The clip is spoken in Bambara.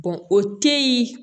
o te yen